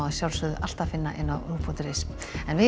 alltaf finna á rúv punktur is en við